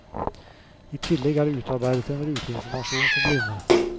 I tillegg er det utarbeidet en ruteinformasjon for blinde.